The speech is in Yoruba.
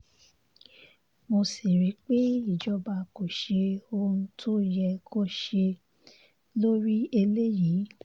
mo sì rí i pé ìjọba kò ṣe ohun tó yẹ kó ṣe lórí eléyìí